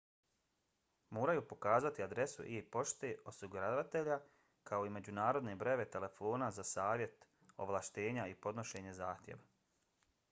moraju pokazati adresu e-pošte osiguravatelja kao i međunarodne brojeve telefona za savjet/ovlaštenja i podnošenje zahtjeva